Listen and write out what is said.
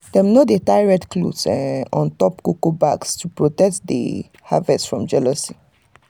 dem dey tie red cloth um on top cocoa bags to protect the um harvest from jealousy. um